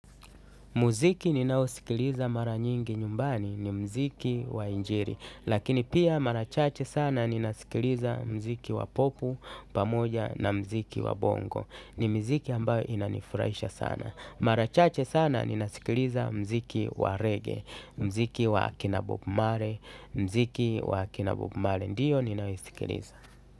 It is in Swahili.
Muziki ninaosikiliza mara nyingi nyumbani ni muziki wa injili. Lakini pia mara chache sana ninasikiliza muziki wa popu, pamoja na muziki wa bongo. Ni miziki ambayo inanifurahisha sana. Mara chache sana ninasikiliza uwa reggae, muziki wa akina bob marie, muziki wa akina bob marie. Ndiyo ninayosikiliza.